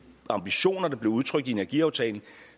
ambitioner der blev udtrykt i energiaftalen